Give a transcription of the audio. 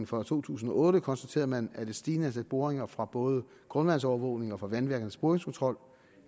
for to tusind og otte konstaterede man at et stigende antal boringer fra både grundvandsovervågning og fra vandværkernes boringskontrol